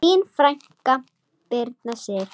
Þín frænka, Birna Sif.